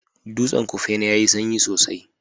Dutsen kufena yayi sanyi sosai